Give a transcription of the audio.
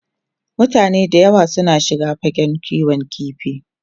Mutane da yawa suna shiga fagen kiwon kifi.